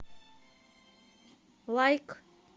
лайк